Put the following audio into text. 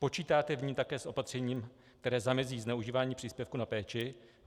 Počítáte v ní také s opatřením, které zamezí zneužívání příspěvku na péči?